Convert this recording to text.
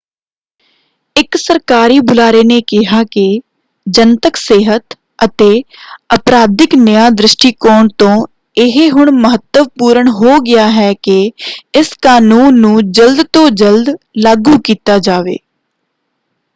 ਇੱਕ ਸਰਕਾਰੀ ਬੁਲਾਰੇ ਨੇ ਕਿਹਾ ਕਿ ਜਨਤਕ ਸਿਹਤ ਅਤੇ ਅਪਰਾਧਿਕ ਨਿਆਂ ਦ੍ਰਿਸ਼ਟੀਕੋਣ ਤੋਂ ਇਹ ਹੁਣ ਮਹੱਤਵਪੂਰਨ ਹੋ ਗਿਆ ਹੈ ਕਿ ਇਸ ਕਾਨੂੰਨ ਨੂੰ ਜਲਦ ਤੋਂ ਜਲਦ ਲਾਗੂ ਕੀਤਾ ਜਾਵੇ।